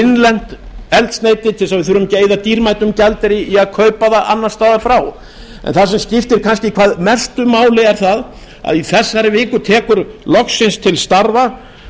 innlent eldsneyti til þess að við þurfum ekki að eyða dýrmætum gjaldeyri í að kaupa það annars staðar frá en það sem skiptir hvað mestu máli er það að í þessari viku tekur loksins til starfa